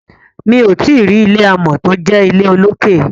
mi'o tí rí ilé amò tó jé ilé olokè.